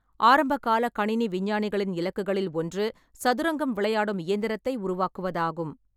ஆரம்பகால கணினி விஞ்ஞானிகளின் இலக்குகளில் ஒன்று சதுரங்கம் விளையாடும் இயந்திரத்தை உருவாக்குவதாகும்.